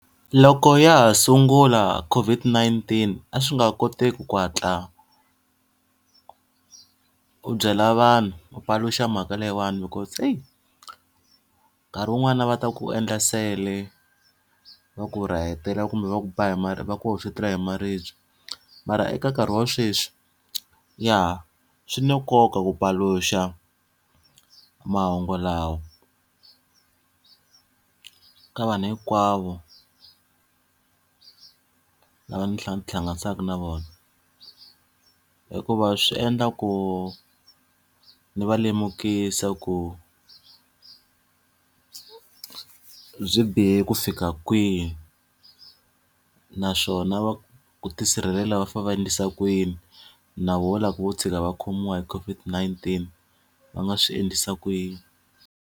Loko ya ha sungula COVID-19 a swi nga koteki ku hatla u byela vanhu u paluxa mhaka leyiwani because eyi, nkarhi wun'wana va ta ku endla nsele, va ku rahetela kumbe va ku ba hi va ku hoxetela hi maribye. Mara eka nkarhi wa sweswi ya, swi na nkoka ku paluxa mahungu lawa ka vanhu hinkwavo lava ndzi ndzi ti hlanganisaka na vona. Hikuva swi endla ku ndzi va lemukisa ku byi bihe ku fika kwihi naswona ku tisirhelela va fanele va endlisa ku yini. Na vona loko vo tshika va khomiwa hi COVID-19 va nga swi endlisa ku yini.